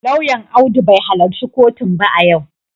Lauyan Audu bai halarci kotun ba a yau